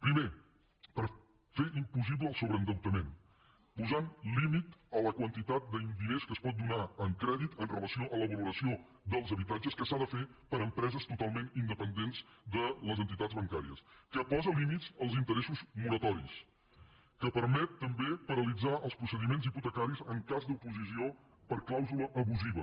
primer per fer impossible el sobreendeutament posant límit a la quantitat de diners que es pot donar en crèdit amb relació a la valoració dels habitatges que s’ha de fer per empreses totalment independents de les entitats bancàries que posa límits als interessos moratoris que permet també paralitzar els procediments hipotecaris en cas d’oposició per clàusula abusiva